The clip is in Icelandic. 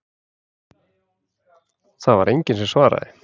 Það var enginn sem svaraði.